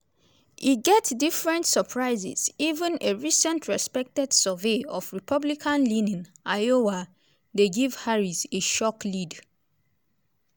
e get different surprises even a recent respected survey of republican-leaning iowa dey give harris a shock lead.